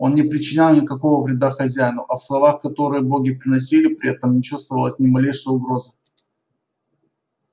он не причинял никакого вреда хозяину а в словах которые боги произносили при этом не чувствовалось ни малейшей угрозы